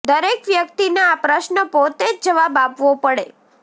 દરેક વ્યક્તિને આ પ્રશ્ન પોતે જ જવાબ આપવો પડે